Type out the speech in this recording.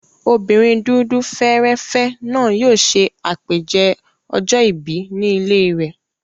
Obìnrin dúdú fẹ́ẹ́rẹ́fẹ́ náà yóò ṣe àpèjẹ ọjọ́ ìbí ní ilé rẹ̀.